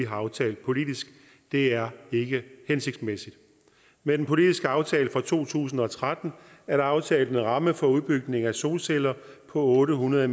og aftalt politisk det er ikke hensigtsmæssigt med den politiske aftale fra to tusind og tretten er der aftalt en ramme for udbygning af solceller på otte hundrede